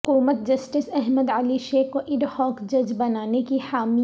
حکومت جسٹس احمد علی شیخ کو ایڈہاک جج بنانے کی حامی